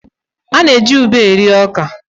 A na-eji ube rie ọka.